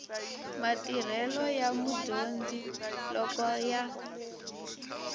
matirhelo ya mudyondzi loko ya